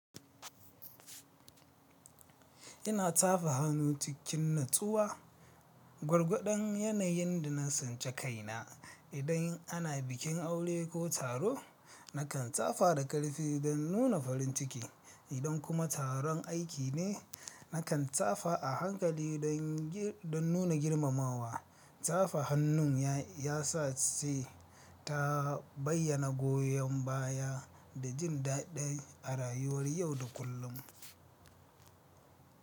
Ina tafa hannu cikin natsuwa, gwargwadon yanayin da na sance kaina. Idan ana bikin aure ko taro, nakan tsafa da ƙarfi don nuna farin ciki, idan kuma taron aiki ne, nakan tsafa a hankali don nuna girmamawa. Tsafa hannun ya sa sai ta bayyana goyon baya da jin daɗi a rayuwar yau da kullum.